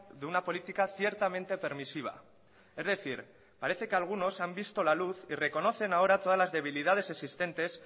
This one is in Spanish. de una política ciertamente permisiva es decir parece que algunos han visto la luz y reconocen ahora todas las debilidades existentes